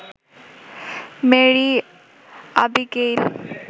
Mary Abigail